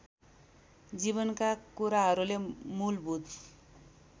जीवनका कुराहरूले मूलभूत